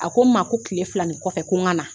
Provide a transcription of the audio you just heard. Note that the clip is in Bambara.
A ko n ma ko kile fila nin kɔfɛ ko n ka na.